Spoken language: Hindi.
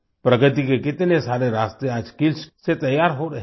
प्रगति के कितने सारे रास्ते आज स्किल्स से तैयार हो रहे हैं